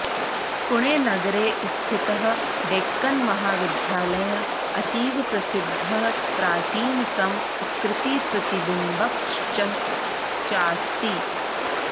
पुणे नगरे स्थितः डेक्कन् महाविद्यालयः अतीव प्रसिद्धः प्राचीनसंस्कृतिप्रतिबिम्बकश्चास्ति